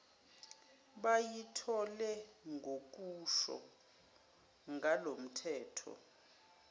bayithole ngokusho kwalomthetho